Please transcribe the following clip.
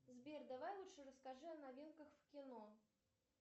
сбер давай лучше расскажи о новинках в кино